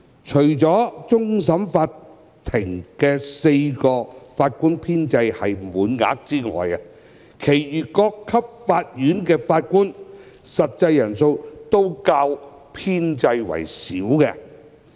除了終審法院4個法官編制是滿額外，其餘各級法院法官的實際人數均較編制為少。